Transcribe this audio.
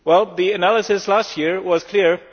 The analysis last year was clear.